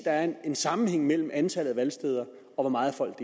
er en sammenhæng mellem antallet af valgsteder og hvor meget folk